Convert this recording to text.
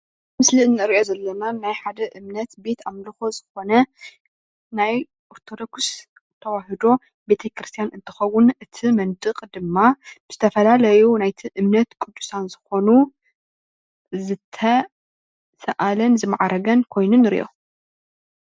ኣብዚ ምስሊ እንሪኦ ዘለና ናይ ሓደ እምነት ቤተ ኣምልኮ ዝኮነ ናይ ኦርቶዶክስ ተዋህዶ ቤተ ክርስትያን እንትከውን እቲ መንድቅ ድማ ብዝተፈላለዩ ናይቲ እምነት ቅድሳን ዝኮኑ ዝተሰኣለን ዝማዕረገን ኮይኑ ንሪኦ፡፡